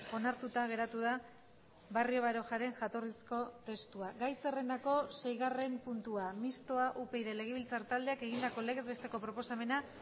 onartuta geratu da barrio barojaren jatorrizko testua gai zerrendako seigarren puntua mistoa upyd legebiltzar taldeak egindako legez besteko proposamena